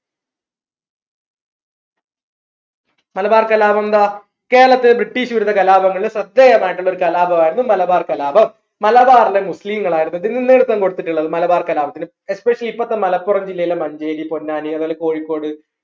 മലബാർ കലാപം ന്താ കേരളത്തിൽ British വിരുദ്ധ കലാപങ്ങളിൽ പ്രത്യേകമായിട്ടുള്ള ഒരു കലാപമായിരുന്നു മലബാർ കലാപം മലബാറിലെ മുസ്ലീങ്ങൾ ആയിരുന്നു ഇതിന് നേതൃത്വം കൊടുത്തിട്ടുള്ളത് മലബാർ കലാപത്തിന് ഇപ്പോത്തെ മലപ്പുറം ജില്ലയിലെ മഞ്ചേരി പൊന്നാനി അതേപോലെ കോഴിക്കോട്